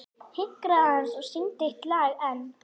Hinkraðu aðeins og syngdu eitt lag enn.